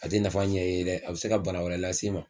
A te nafa ɲɛ i ye dɛ, a bɛ se ka bana wɛrɛ lase i ma